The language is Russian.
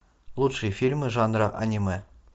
лучшие фильмы жанра аниме